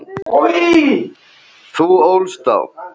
Þú ólst þá.